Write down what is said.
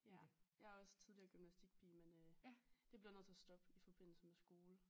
Ja jeg er også tidligere gymnastikpige men øh det blev nødt til at stoppe i forbindelse med skole